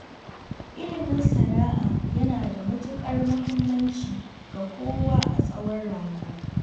Ilimin sana'a yana da matuƙar muhimmanci ga kowa, a tsawon rayuwa.